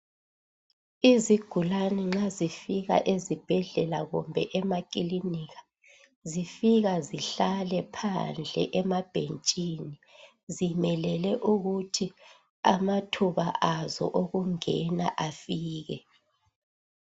Izigulane nxa zifika ezibhedlela kumbe emakilinika ,zifika zihlale phandle emabhentshini zimelele ukuthi amathuba azo okungena afike.